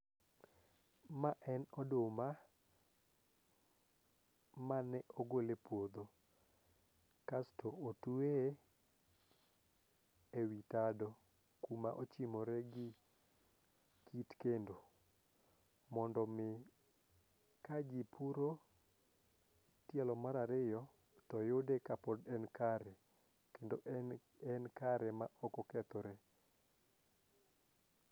ma en oduma mane ogole puodho kasto otweye ewi tado kuma ochimore gi kendo mondo mi ka ji puro tielo mar ariyo to yude ka pod en kare kendo en kare ma ok okethore